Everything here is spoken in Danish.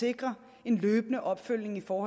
sikrer en løbende opfølgning på